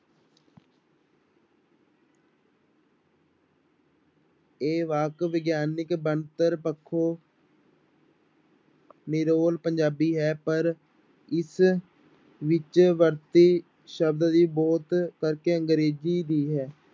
ਇਹ ਵਾਕ ਵਿਗਿਆਨਕ ਬਣਤਰ ਪੱਖੋਂ ਨਿਰੋਲ ਪੰਜਾਬੀ ਹੈ ਪਰ ਇਸ ਵਿੱਚ ਵਰਤੇ ਸ਼ਬਦ ਬਹੁਤ ਕਰਕੇ ਅੰਗਰੇਜ਼ੀ ਵੀ ਹੈ।